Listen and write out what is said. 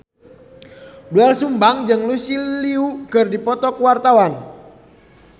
Doel Sumbang jeung Lucy Liu keur dipoto ku wartawan